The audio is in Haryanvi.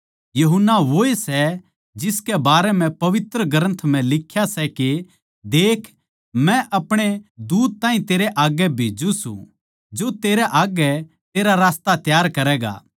यूहन्ना वोए सै जिसकै बारे म्ह पवित्र ग्रन्थ म्ह लिख्या सै के देख मै अपणे दूत ताहीं तेरै आग्गै भेज्जू सूं जो तेरै आग्गै तेरा रास्ता त्यार करैगा